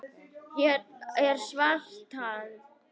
Hérna er svunta